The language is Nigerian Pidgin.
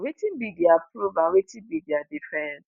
wetin be dia proof and wetin be dia defence?'"